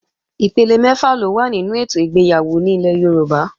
Ipele mẹ́fà ló wà nínú ètò ìgbéyàwó ní ilẹ̀ Yorùbá